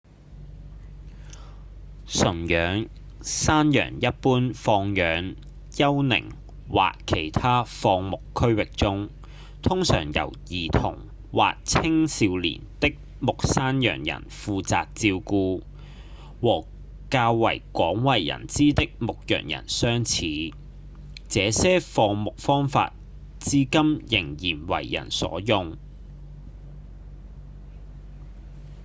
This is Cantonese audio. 馴養山羊一般放養丘陵或其他放牧區域中通常由兒童或青少年的牧山羊人負責照顧和較為廣為人知的牧羊人相似這些放牧方法至今仍然為人所用